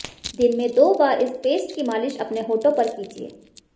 दिन में दो बार इस पेस्ट की मालिश अपने होंठो पर कीजिए